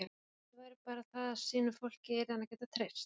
Málið væri bara það að sínu fólki yrði hann að geta treyst.